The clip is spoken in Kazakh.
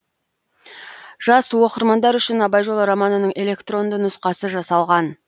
жас оқырмандар үшін абай жолы романының электронды нұсқасы жасалған